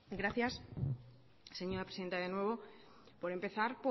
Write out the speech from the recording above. gracias señora presidenta de nuevo por empezar